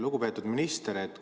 Lugupeetud minister!